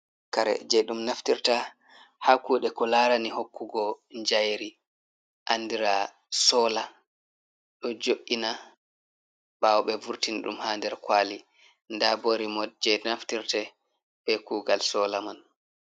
Kare je ɗum naftirta ha kuɗe ko larani hokkugo jayiri andira sola do jo’ina ɓawo ɓe vurtin ɗum ha nder kwali nda bo rimot je naftirte be kugal sola man.